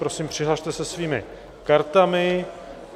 Prosím, přihlaste se svými kartami.